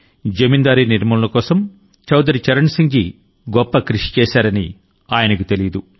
జమీందారీ నిర్మూలన కోసం చౌదరి చరణ్ సింగ్ జీ గొప్ప కృషి చేశారని ఆయనకు తెలియదు